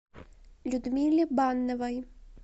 людмиле банновой